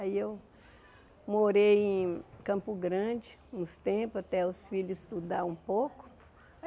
Aí eu morei em Campo Grande uns tempos, até os filhos estudarem um pouco.